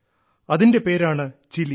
അതിന്റെ പേരാണ് ചിലി